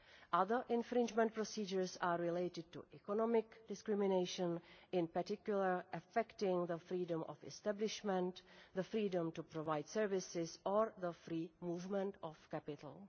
Other infringement procedures are related to economic discrimination, in particular affecting the freedom of establishment, the freedom to provide services or the free movement of capital.